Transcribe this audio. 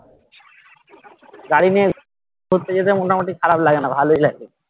গাড়ি নিয়ে ঘুরতে যেতে মোটামোটি খারাপ লাগে না ভালোই লাগে